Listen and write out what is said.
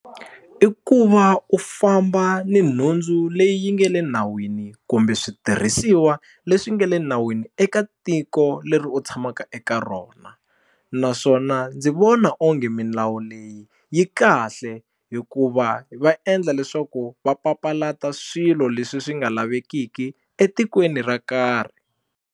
I ku va u famba ni nhundzu leyi nge le nawini kumbe switirhisiwa leswi nge le nawini eka tiko leri u tshamaka eka rona naswona ndzi vona onge milawu leyi yi kahle hikuva va endla leswaku va papalata swilo leswi swi nga lavekiki etikweni ra karhi.